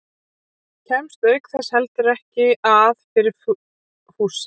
Kemst auk þess heldur ekki að fyrir fussi